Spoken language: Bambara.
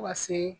Fo ka se